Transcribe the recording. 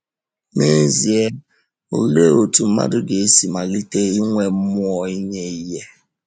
N’ezie, olee otú mmadụ ga-esi malite inwe mmụọ inye ihe?